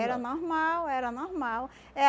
Era normal, era normal.